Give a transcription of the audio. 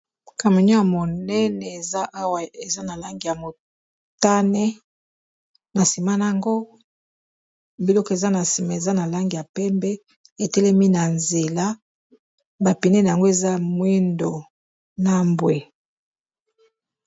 Camenio ya monene eza awa eza na langi ya motane, na nsima na yango biloko eza na nsima eza na lange ya pembe etelemi na nzela bapinene yango eza mwindo na mbwe.